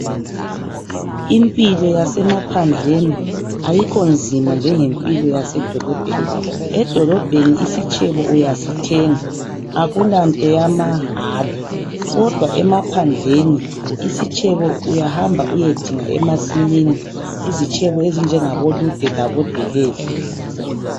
Impilo yasemaphandleni ayikho nzima njengempilo yasedolobheni. Edolobheni isitshebo uyasithenga akulanto yamahala kodwa emaphandleni isitshebo uyahamba uyedinga emasimini, izitshebo ezinjengabo lude labo delele.